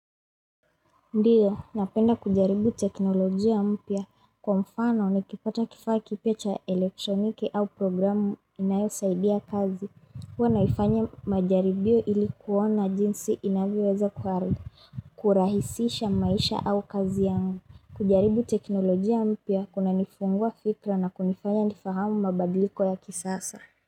Ndiyo, napenda kujaribu teknolojia mpya. Kwa mfano, nikipata kifaa kipya cha elektroniki au programu inayo saidi ya kazi. Huwa naifanya majaribio ilikuona jinsi inavyoweza kuhari. Kurahisisha maisha au kazi yangu. Kujaribu teknolojia mpya, kuna nifungua fikra na kunifanya nifahamu mabadliko ya kisasa.